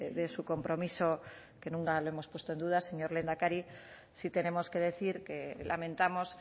de su compromiso que nunca lo hemos puesto en duda señor lehendakari sí tenemos que decir que lamentamos